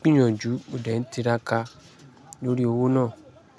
gbìyànjú mo dẹ̀ ń tiraka lórí owó náà.